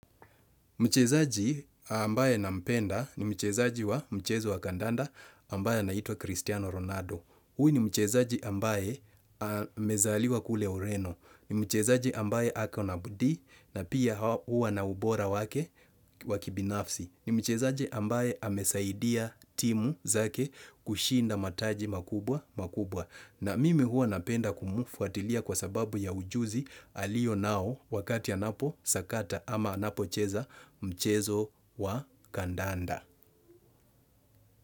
Mchezaji ambaye nampenda ni mchezaji wa mchezo wa kandanda ambaye anaitwa Cristiano Ronaldo. Huyu ni mchezaji ambaye amezaliwa kule ureno. Ni mchezaji ambaye ako na bidii na pia huwa na ubora wake wa kibinafsi. Ni mchezaji ambaye amesaidia timu zake kushinda mataji makubwa makubwa. Na mimi huwa napenda kumfuatilia kwasababu ya ujuzi alionao wakati anaposakata ama anapocheza mchezo wa kandanda.